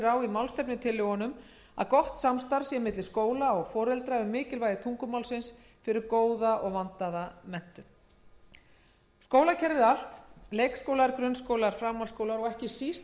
er á í málstefnutillögunum að gott samstarf sé milli skóla og foreldra um mikilvægi tungumálsins fyrir góða og vandaða menntun skólakerfið allt leikskólar grunnskólar framhaldsskólar og ekki síst